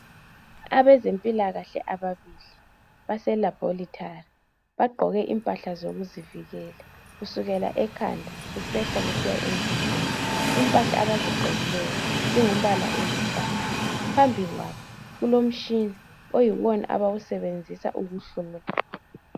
Abezempilakahle ababili baselabholethali. Bagqoke impahla zabo zokuzivikela kusukela ekhanda kusehla kusiya emzimbeni. Impahla abazigqokileyo zingumbala oluhlaza. Phambili kwabo kulomtshina oyiwona abawusebenzisa ukuhlola.